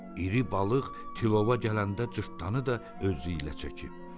İri balıq tilova gələndə cırtdanı da özü ilə çəkib.